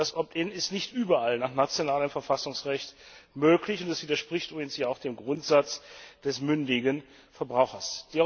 Das opt in ist nicht überall nach nationalem Verfassungsrecht möglich, und es widerspricht ja übrigens auch dem Grundsatz des mündigen Verbrauchers.